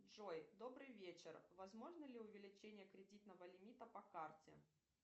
джой добрый вечер возможно ли увеличение кредитного лимита по карте